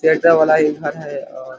चेजा वाला ही घर है और --